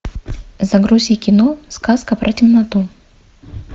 загрузи кино сказка про темноту